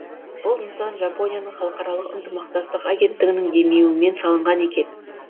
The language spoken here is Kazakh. бұл нысан жапонияның халықаралық ынтымақтастық агенттігінің демеуімен салынған екен